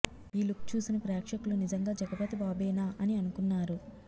ఈ లుక్ చూసిన ప్రేక్షకులు నిజంగా జగపతి బాబేనా అని అనుకున్నారు